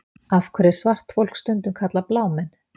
Af hverju er svart fólk stundum kallað blámenn?